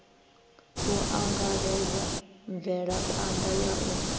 u angaredza mvelaphanḓa ya u